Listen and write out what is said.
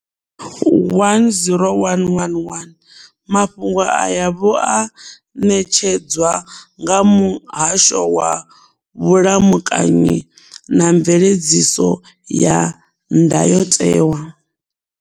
10111 Mafhungo aya vho a ṋetshedzwa nga Muhasho wa Vhulamukanyi na Mveledziso ya Ndayotewa.